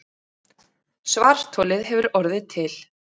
Svartholið hefur orðið til.